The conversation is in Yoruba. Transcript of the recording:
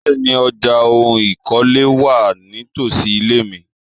Bẹ́ẹ̀ni, ọjà oun ìkọ́lé wà nítosi ile mi.